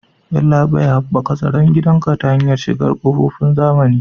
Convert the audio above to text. Yallabai, Haɓaka tsaron gidanka ta hanyar shigar da ƙofofin zamani.